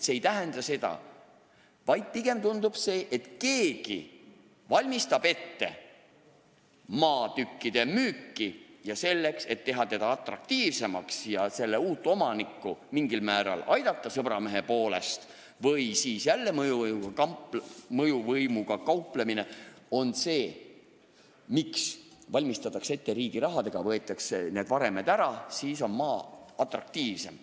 Praegu pigem tundub, et keegi valmistab ette maatükkide müüki ja selleks, et teha seda atraktiivsemaks ja uut omanikku mingil määral sõbramehe poolest aidata , lammutatakse riigi rahaga need varemed ära, sest siis on maa atraktiivsem.